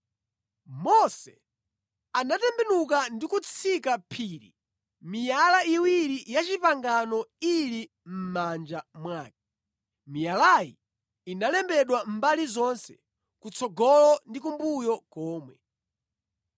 Mose anatembenuka ndi kutsika phiri miyala iwiri ya pangano ili mʼmanja mwake. Miyalayi inalembedwa mbali zonse, kutsogolo ndi kumbuyo komwe.